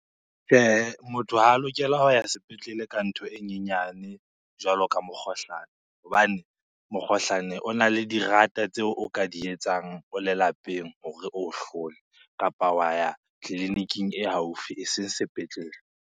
Tjhehe, motho ha a lokela ho ya sepetlele ka ntho e nyenyane jwalo ka mokgohlane, hobane mokgohlane o na le dirata tseo o ka di etsang o le lapeng hore oo hlole kapa wa ya tleliniking e haufi eseng sepetlele.